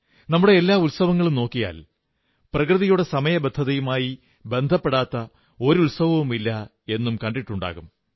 നമ്മുടെ എല്ലാ ഉത്സവങ്ങളും നോക്കിയാൽ പ്രകൃതിയുടെ സമയബദ്ധതയുമായി ബന്ധപ്പെടാത്ത ഒരു ഉത്സവവുമില്ലെന്നും കാണാൻ കഴിയും